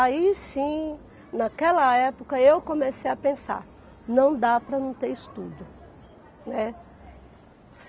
Aí sim, naquela época, eu comecei a pensar, não dá para não ter estudo, né.